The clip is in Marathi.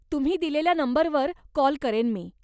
तुम्ही दिलेल्या नंबरवर कॉल करेन मी.